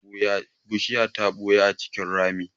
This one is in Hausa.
Bushiya ta ɓuya a cikin rami.